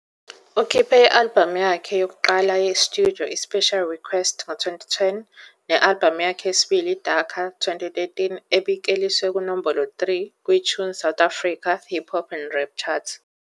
"Ukhiphe i-" albhamu yakhe yokuqala ye-studio iSpecial ReKwest, 2010, ne-albhamu yakhe yesibili "iDaKAR", 2013, ebikleliswe kunombolo 3 kwiTunes South Africa Hip-hop - Rap Chart.